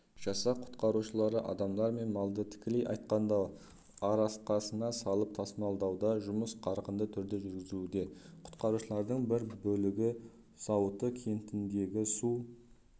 жасақ құтқарушылары адамдар мен малды тікелей айтқанда арқасына салып тасымалдауда жұмыс қарқынды түрде жүргізілуде құтқарушыларының бір бөлігі зауыты кентіндегі су